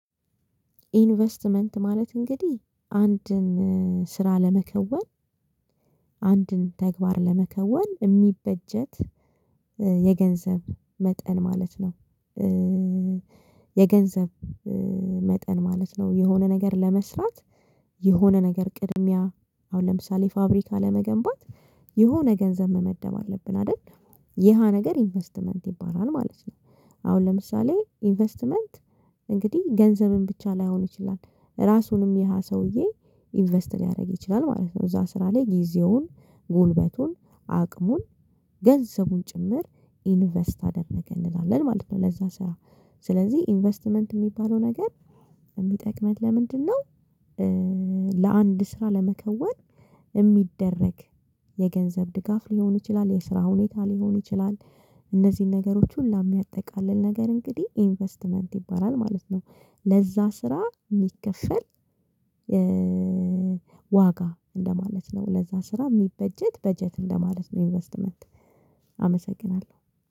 ኢንቨስትመንት ማለት እንግዲህ አንድን ስራ ለመከወን አንድን ተግባር ለመከወን እሚበጀት የገንዘብ መጠን ማለት ነው። የገንዘብ መጠን ማለት ነው የሆነ ነገር ለመስራት የሆነ ነገር ቅድሚያ አሁን ለምሳሌ ፋብሪካ ለመገንባት የሆነ ገንዘብ መመደብ አለብን አይደል የሃ ነገር ኢንቨስትመንት ይባላል ማለት ነው። አሁን ለምሳሌ ኢንቨስትመንት እንግዲህ ገንዘብን ብቻ ላይሆን ይችላል ራሱንም ይሀ ሰውዬ ኢንቨስት ሊያደርግ ይችላል ማለት ነው እዛ ስራ ላይ ጊዜውን ጉልበቱን አቅሙን ገንዘቡን ጭምር ኢንቨስት አደረገ እንላለን ማለት ነው። ለዛ ስራ ስለዚህ ኢንቨስትመንት እሚባለው ነገር የሚጠቅመን ለምንድነው? ለአንድ ስራ ለመከወን እሚደረግ የገንዘብ ድጋፍ ሊሆን ይችላል የስራ ሁኔታ ሊሆን ይችላል እነዚህን ነገሮች ሁላ እሚያጠቃልል ነገር እንግዲህ ኢንቨስትመንት ይባላል ማለት ነው። ለዛ ስራ እሚከፈል ዋጋ እንደማለት ነው ለዛ ስራ የሚበጀት በጀት እንደማለት ነው። ኢንቨስትመንት አመሰግናለሁ